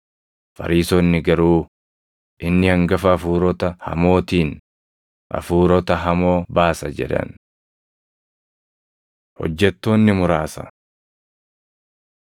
Fariisonni garuu, “Inni hangafa hafuurota hamootiin hafuurota hamoo baasa” jedhan. Hojjettoonni Muraasa